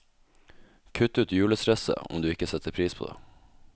Kutt ut julestresset, om du ikke setter pris på det.